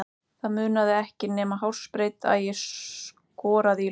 Það munaði ekki nema hársbreidd að ég skoraði í lokin.